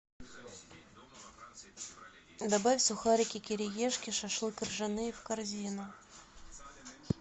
добавь сухарики кириешки шашлык ржаные в корзину